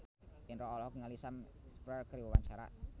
Indro olohok ningali Sam Spruell keur diwawancara